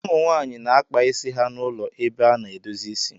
ụmụ nwaanyị na-akpa isi ha na ụlọ ebe a na-edozi isi